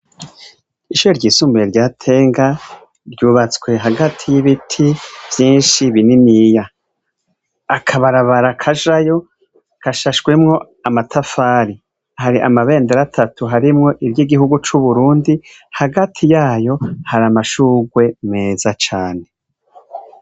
Ishure ryisumbuye rya Tenga, ryubatswe hagati y'ibiti vyinshi bininiya. Akabarabara kajayo gashashemwo amatafari, hari amabendera atatu harimwo iry'igihugu c'Uburundi, hagati yayo ,har'amashurwe meza cane.